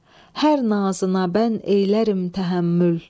Hər nazına mən eylərim təhəmmül.